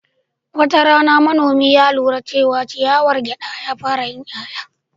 Wata rana, manomi ya lura cewa ciyawar gyada ta fara yin 'ya'ya.